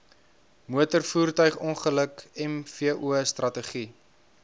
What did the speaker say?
motorvoertuigongeluk mvo strategie